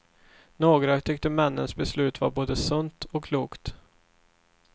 Några tyckte männens beslut var både sunt och klokt.